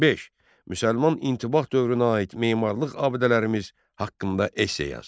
5. Müsəlman intibah dövrünə aid memarlıq abidələrimiz haqqında esse yaz.